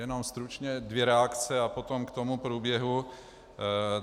Jenom stručně dvě reakce a potom k tomu průběhu.